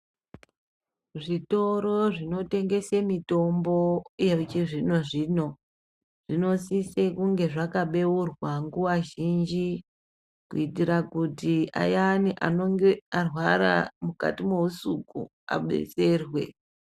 Zvitoro zvinotengese mitombo yechizvino zvino, zvinosise kunge zvakabeurwa nguva zhinji kuitira kuti ayani anenge arwara mukati mohusuku adetserwe.